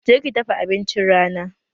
Je ki dafa abincin rana!